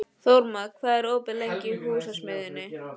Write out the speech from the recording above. Þórmar, hvað er opið lengi í Húsasmiðjunni?